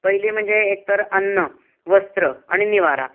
पहिली म्हणजे एक तर अन्न , वस्त्र आणि निवारा